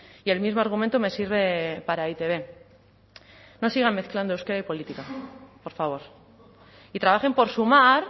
y el mismo argumento me sirve para e i te be no sigan mezclando euskera y política por favor y trabajen por sumar